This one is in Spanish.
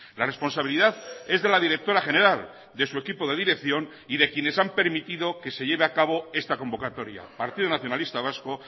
la responsabilidad es de la directora general de su equipo de dirección y de quienes han permitido que se lleve a cabo esta convocatoria partido nacionalista vasco